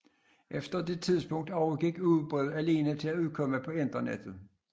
Efter dette tidspunkt overgik ugebrevet til alene at udkomme på internettet